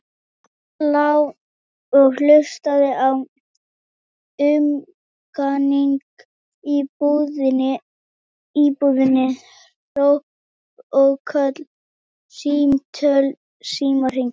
Hann lá og hlustaði á umganginn í íbúðinni, hróp og köll, símtöl, símhringingar.